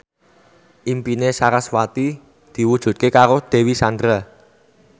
impine sarasvati diwujudke karo Dewi Sandra